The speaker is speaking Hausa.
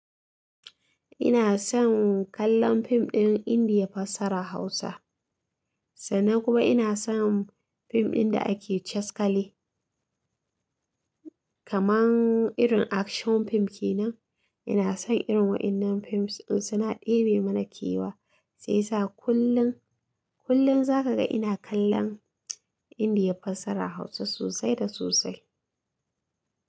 Ina son kallon fim ɗin Indiya fassarar Hausa. Sannan kuma ina son fim ɗin da ake caskale. Kaman irin action fim kenan. Ina son irin waɗannan fim ɗin suna ɗebe mana kewa. Sai sa kullum, kullum za ka ga ina kallon Indiya fasaha Hausa sosai da sosai.